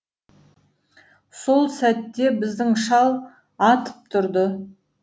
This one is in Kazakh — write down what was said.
сол сәтте біздің шал атып тұрды